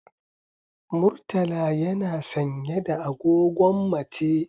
Murtala yana sanye da agogon mace.